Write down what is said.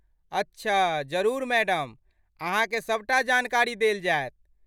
अच्छा, जरुर मैडम, अहाँके सभ टा जानकारी देल जाएत।